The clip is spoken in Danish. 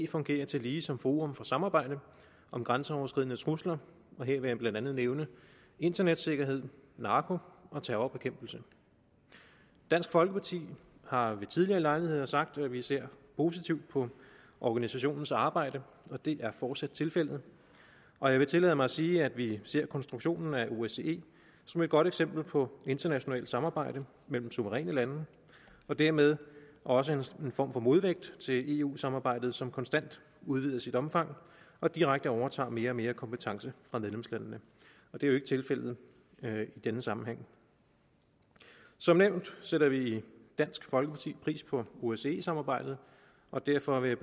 fungerer tillige som forum for samarbejde om grænseoverskridende trusler her vil jeg blandt andet nævne internetsikkerhed narko og terrorbekæmpelse dansk folkeparti har ved tidligere lejligheder sagt at vi ser positivt på organisationens arbejde det er fortsat tilfældet og jeg vil tillade mig sige at vi ser konstruktionen af osce som et godt eksempel på internationalt samarbejde mellem suveræne lande og dermed også en form for modvægt til eu samarbejdet som konstant udvides i omfang og direkte overtager mere og mere kompetence fra medlemslandene det er jo ikke tilfældet i denne sammenhæng som nævnt sætter vi i dansk folkeparti pris på osce samarbejdet og derfor vil